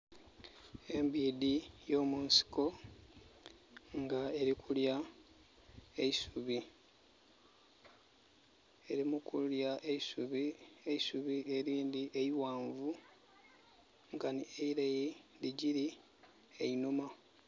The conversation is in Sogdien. Embiidhi eyo munsiko nga eri kulya eisubi. Eri mukulya eisubi, eisubi erindi eiwanvu nkani eileyi lijiri einhuma